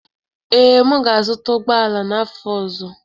Ee, m ga-azụta ụgbọ ala n'afọ ọzọ.